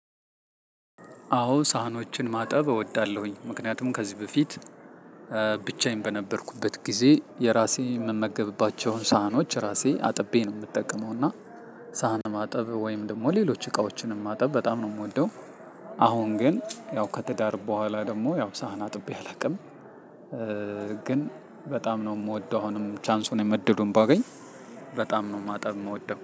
አዎ ሳህኖችን ማጠብ እወዳለሁኝ። ምክንያቱም ከዚህ በፊት ብቻዬን በነበርኩበት ጊዜ የራሴ የምመገብባቸውን ሳህኖች ራሴ አጥቤ ነው የምጠቀመው። እና ሳህን ማጠብ ወይም ደግሞ ሌሎች እቃዎችንም ማጠብ በጣም ነው የምወደው። አሁን ግን ያው ከትዳር በኋላ ደግሞ ያው ሳህን አጥቤ አላውቅም። ግን በጣም ነው የምወደው አሁንም ቻንሱን እድሉን ባገኝ በጣም ነው ማጣብ የምወደው።